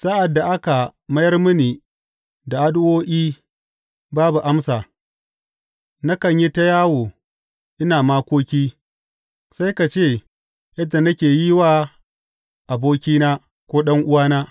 Sa’ad da aka mayar mini da addu’o’i babu amsa, nakan yi ta yawo ina makoki sai ka ce yadda nake yi wa abokina ko ɗan’uwana.